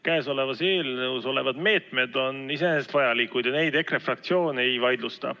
Käesolevas eelnõus olevad meetmed on iseenesest vajalikud ja neid EKRE fraktsioon ei vaidlusta.